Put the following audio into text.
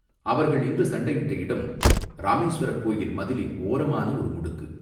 அவர்கள் நின்று சண்டையிட்ட இடம், இராமேசுவரக் கோயில் மதிலின் ஓரமான ஒரு முடுக்கு.